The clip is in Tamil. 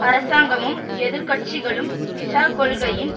அரசாங்கமும் எதிர்க்கட்சிகளும் விசா கொள்கையின்